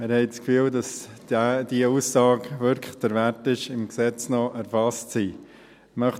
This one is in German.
Wir haben das Gefühl, dass es diese Aussage wirklich wert ist, im Gesetz noch erfasst zu sein.